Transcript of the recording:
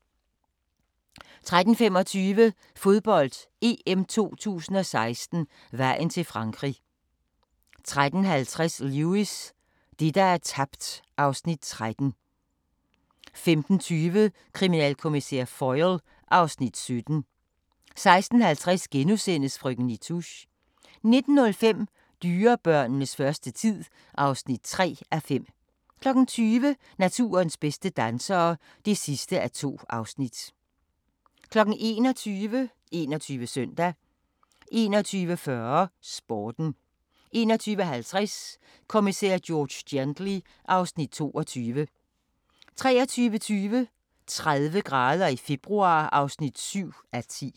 13:25: Fodbold: EM 2016 - vejen til Frankrig 13:50: Lewis: Det, der er tabt (Afs. 13) 15:20: Kriminalkommissær Foyle (Afs. 17) 16:50: Frøken Nitouche * 19:05: Dyrebørnenes første tid (3:5) 20:00: Naturens bedste dansere (2:2) 21:00: 21 Søndag 21:40: Sporten 21:50: Kommissær George Gently (Afs. 22) 23:20: 30 grader i februar (7:10)